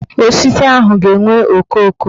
Osisi ahụ ga-enwe okooko